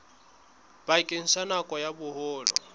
bakeng sa nako ya boholo